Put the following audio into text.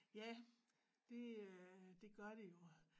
Ja det øh det gør de jo